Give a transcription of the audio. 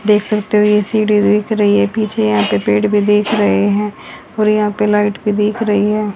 देख सकते हो ये सीढ़ी दिख रही है ये पीछे यहां पे पेड़ भी देख रहे हैं और यहां पे लाइट भी दिख रही है।